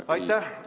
Aitäh!